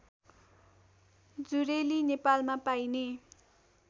जुरेली नेपालमा पाइने